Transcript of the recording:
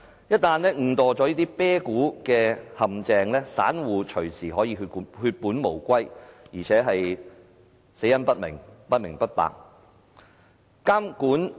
一旦誤墮"啤殼"的陷阱，散戶隨時可以血本無歸，而且死得不明不白。